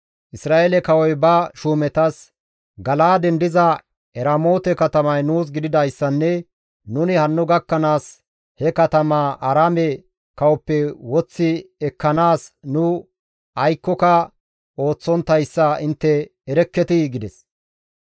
Isra7eele kawoy ba shuumetas, «Gala7aaden diza Eramoote katamay nuus gididayssanne nuni hanno gakkanaas he katamaa Aaraame kawoppe woththi ekkanaas nu aykkoka ooththonttayssa intte erekketii?» gides.